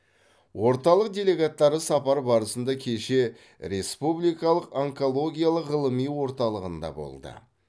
орталық делегаттары сапар барысында кеше республикалық онкологиялық ғылыми орталығында болды